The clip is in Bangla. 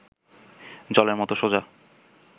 জলের মতো সোজা